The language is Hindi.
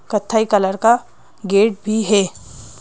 कथाई कलर का गेट भी है।